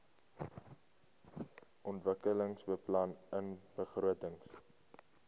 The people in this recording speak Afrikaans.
ontwikkelingsbeplanningbegrotings